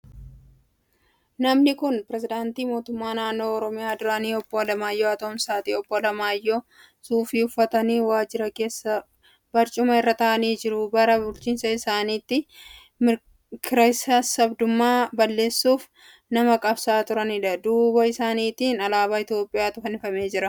Namni kun pirezidaantii Mootummaa Naannoo Oromiyaa duraanii Obbo Alamaayyoo Atoomsaati. Obbo Alamaayyoon suufii uffatanii waajjira keessa barcuma irra taa'anii jiru. Bara bulchiinsa isaaniitti kiraasassaabdummaa balleessuuf nama qabsa'aa turaniidha. Duuba isaaniitiin alaabaa Itiyoophiyaatu fannifamee jira.